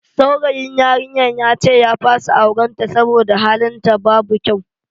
Saurayin yarinyar yace ya fasa auren ta saboda halin ta babu kyau.